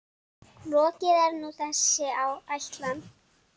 Lokið er nú þessi ætlan.